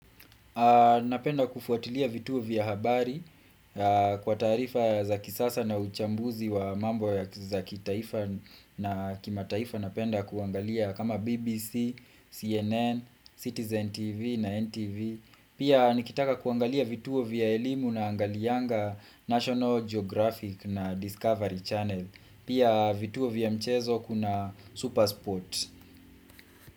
Napenda kufuatilia vituo vya habari kwa tarifa za kisasa na uchambuzi wa mambo za kitaifa na kimataifa napenda kuangalia kama BBC, CNN, Citizen TV na NTV. Pia nikitaka kuangalia vituo vya elimu naangalianga National Geographic na Discovery Channel. Pia vituo vya mchezo kuna Supersport.